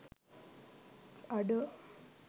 අඩෝ!